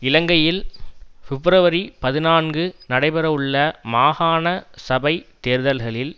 இலங்கையில் பிப்ரவரி பதினான்கு நடைபெறவுள்ள மாகாண சபைத் தேர்தல்களில்